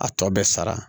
A tɔ bɛ sara